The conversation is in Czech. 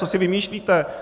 Co si vymýšlíte?